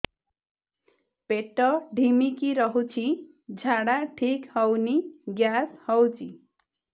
ପେଟ ଢିମିକି ରହୁଛି ଝାଡା ଠିକ୍ ହଉନି ଗ୍ୟାସ ହଉଚି